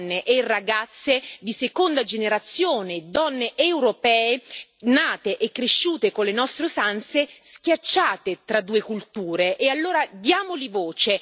Si pensi a tutte quelle donne e ragazze di seconda generazione, donne europee nate e cresciute con le nostre usanze, schiacciate tra due culture.